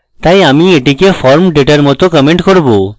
তাই আমি এটিতে form data এর মত comment করব